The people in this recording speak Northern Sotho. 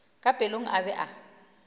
ka pelong a be a